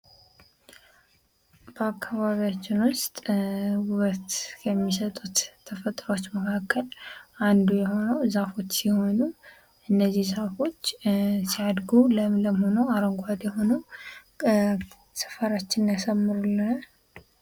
ባአካባቢያች ውስጥ ውበት የሚሰጡት ተፈጥሮች መካከል አንዱ የሆነው ዛፎች ሲሆኑ እነዚህ ዛፎች ሲያድጉ ለምለም ሆነው አረንጓዴ ሆነው ሰፈራችንን ያሳምሩልናል።